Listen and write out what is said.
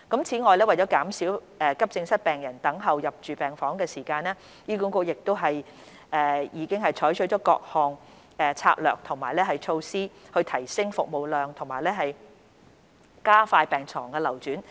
此外，為減少急症室病人等候入住病房的時間，醫管局亦已採取各項策略和措施以提升服務量和加快病床流轉。